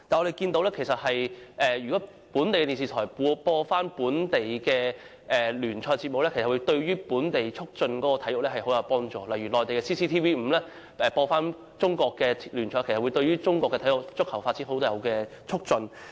然而，若由本地電視台播放本地聯賽節目的話，便能促進本地體育，例如內地的 CCTV-5 播放中國聯賽，便有助促進中國足球運動的發展。